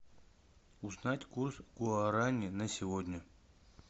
узнать курс гуарани на сегодня